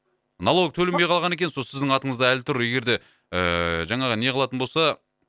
налогы төленбей қалған екен сол сіздің атыңызда әлі тұр егерде ііі жаңағы неғылатын болса